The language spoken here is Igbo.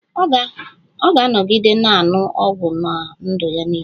Ọ ga-anọgide na-aṅụ ọgwụ ná ndụ ya niile